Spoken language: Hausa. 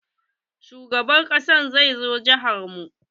Shugaban ƙasa zai zo jihar mu.